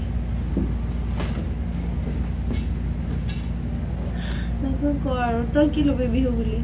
তাৰ পিছত কʼ আৰু তই কি লবি বিহু বুলি ?